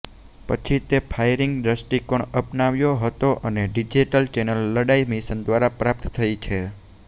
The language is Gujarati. પછી તે ફાયરિંગ દ્વષ્ટિકોણ અપનાવ્યો હતો અને ડિજિટલ ચેનલ લડાઇ મિશન દ્વારા પ્રાપ્ત થઈ છે